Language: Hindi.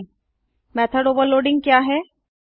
httpwwwspoken tutorialओआरजी मेथड ओवरलोडिंग क्या है